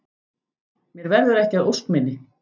Mér verður ekki að ósk minni.